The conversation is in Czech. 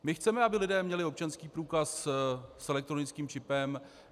My chceme, aby lidé měli občanský průkaz s elektronickým čipem.